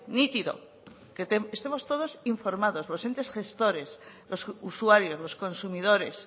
nítido que estemos todos informados los entes gestores los usuarios los consumidores